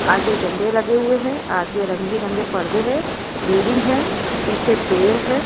आगे झंडे लगे हुए है आगे रंग बिरंगे पर्दे है बिल्डिंग है पीछे पेड़ है।